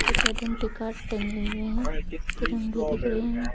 कुछ identity card टंगे हुए हैं तिरंगे दिख रहे हैं।